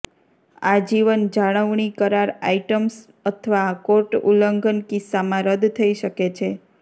આજીવન જાળવણી કરાર આઇટમ્સ અથવા કોર્ટ ઉલ્લંઘન કિસ્સામાં રદ થઈ શકે છે